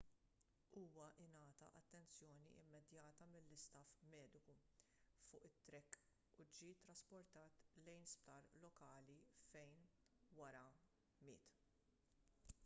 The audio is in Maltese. huwa ngħata attenzjoni immedjata mill-istaff mediku fuq it-track u ġie ttrasportat lejn sptar lokali fejn wara miet